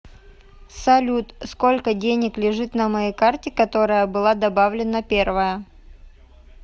салют сколько денег лежит на моей карте которая была добавлена первая